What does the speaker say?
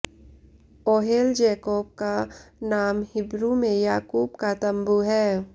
Ohel Jacob का नाम Hebrew में याकूब का तम्बू है